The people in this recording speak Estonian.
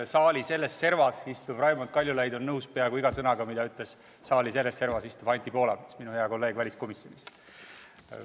Saali selles servas istuv Raimond Kaljulaid on nõus peaaegu iga sõnaga, mida ütles saali teises servas istuv Anti Poolamets, minu hea kolleeg väliskomisjonist.